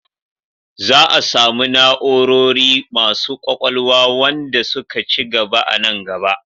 Za a samu na'orori masu ƙwaƙwalwa wanda suka ci gaba a nan gaba.